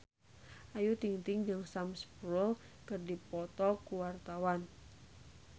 Ayu Ting-ting jeung Sam Spruell keur dipoto ku wartawan